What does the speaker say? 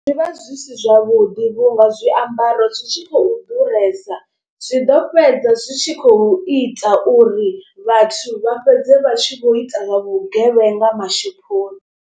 Zwi vha zwi si zwavhuḓi vhunga zwiambaro zwi tshi khou ḓuresa. Zwi ḓo fhedza zwi tshi khou ita uri vhathu vha fhedze vha tshi kho ita zwa vhugevhenga mashophoni.